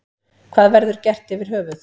Hvað verður gert yfir höfuð.